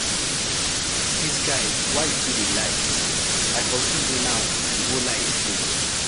Dis guy why you too dey lie? I forgive you now, you go lie again.